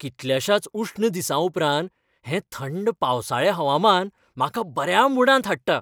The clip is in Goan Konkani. कितल्याशाच उश्ण दिसां उपरांत, हें थंड पावसाळें हवामान म्हाका बऱ्या मूडांत हाडटा.